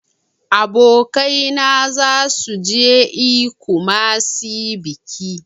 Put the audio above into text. Abokaina zasu je e kumasi biki.